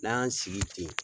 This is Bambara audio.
N'an y'an sigi ten.